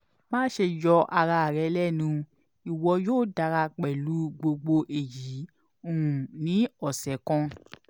maṣe yọ ara rẹ lẹnu iwọ yoo dara pẹlu gbogbo eyi um ni ọsẹ kan